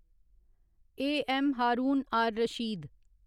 आ. ऐम्म. हारून आर रशीद